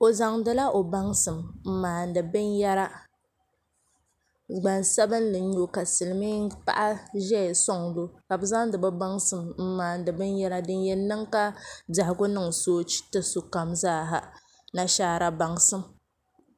o zaŋ di la o baŋsim m-maandi binyɛra gbaŋ' sabinli n nyɛ ka silimin' paɣa ʒiya n-sɔŋ di o ka bɛ zaŋdi bɛ baŋsim maandi binyɛra din yɛn niŋ ka biɛhigu niŋ soochi ti sokam zaa ha nashara baŋsim.